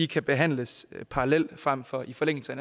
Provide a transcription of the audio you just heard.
kan behandles parallelt frem for i forlængelse af